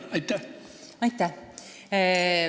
Aitäh!